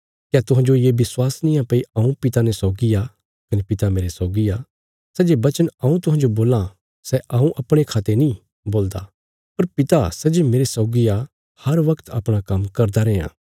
क्या तुहांजो ये विश्वास निआं भई हऊँ पिता ने सौगी आ कने पिता मेरे सौगी आ सै जे बचन हऊँ तुहांजो बोलां सै हऊँ अपणे खा ते नीं बोलदा पर पिता सै जे मेरे सौगी आ हर बगत अपणा काम्म करदा रैयां